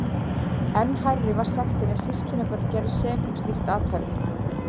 Enn hærri var sektin ef systkinabörn gerðust sek um slíkt athæfi.